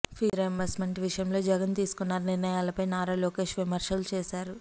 fee reimbursement విషయంలో జగన్ తీసుకున్న నిర్ణయాలపై నారా లోకేష్ విమర్శలు చేశారు